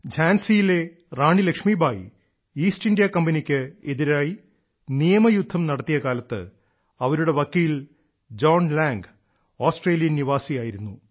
ഝാൻസിയിലെ Rani Lakshmi Bai east India കമ്പനിക്ക് എതിരായി നിയമയുദ്ധം നടത്തിയ കാലത്ത് അവരുടെ വക്കീൽ ജോൺ ലാംഗ് ഓസ്ട്രേലിയൻ നിവാസിയായിരുന്നു